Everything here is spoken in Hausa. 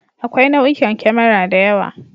Akwai nau'ikan kemara da yawa.